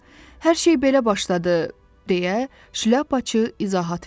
Hər şey belə başladı deyə Şlyapaçı izahat verdi.